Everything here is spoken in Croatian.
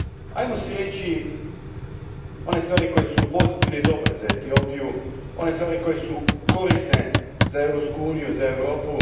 Ajmo si reći one stvari koje su pozitivne i dobre za Etiopiju, one stvari koje su korisne za Europsku uniju, za Europu.